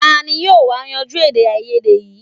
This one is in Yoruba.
Tani yóò wá yanjú èdèàìyedè yìí